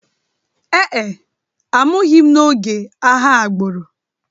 Ee e, a mụghị m n’oge agha agbụrụ